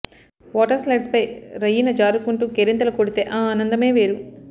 water స్లైడ్పై రయ్యిన జారుకుంటూ కేరింతలు కొడితే ఆ ఆనందమే వేరు